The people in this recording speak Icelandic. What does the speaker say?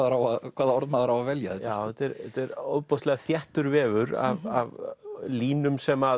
hvaða orð maður á að velja já þetta er ofboðslega þéttur vefur af línum sem